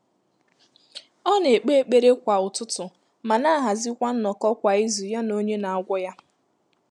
Ọ́ nà-ékpé ékpèré kwá ụ́tụ́tụ̀ mà nà-àhàzị́kwà nnọ́kọ́ kwá ízù yá nà ọ́nyé nà-àgwọ́ yá.